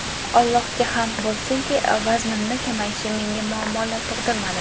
Allohga hamd bo‘lsinki, vaznimni kamayishi menga muammolar tug‘dirmadi.